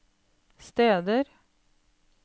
steder